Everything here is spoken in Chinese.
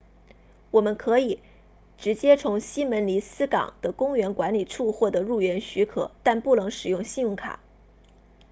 可以直接从希门尼斯港 puerto jiménez 的公园管理处获得入园许可但不能使用信用卡